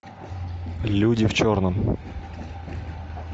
люди в черном